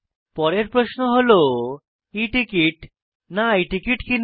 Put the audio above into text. পরের প্রশ্ন হল e টিকেট না i টিকেট কিনব